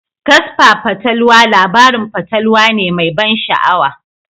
Kasfa fatalwa labarin fatalwa ne mai ban sha'awa.